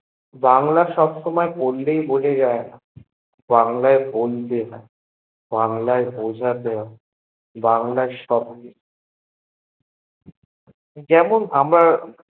বাংলা সবসময় পড়লেই বোঝা যায়েনা বাংলা এয় বলতে হয়ে বাংলা এয় বোঝাতে হয়ে বাংলা সব যেমন আমরা